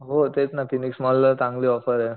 हो तेच ना फिनिक्स मॉल ला चांगली ऑफरे